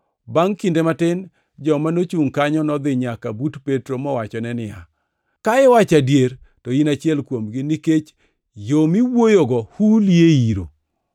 Bangʼ kinde matin, joma nochungʼ kanyo nodhi nyaka but Petro mowachone niya, “Ka iwacho adier, to in achiel kuomgi, nikech yo miwuoyogo huli e iro.”